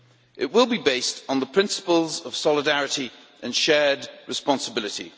It will be based on the principles of solidarity and shared responsibility.